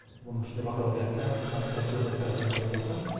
оның ішінде бакалавриатта магистратура докторантурада оқып жатқан